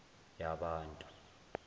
yabantu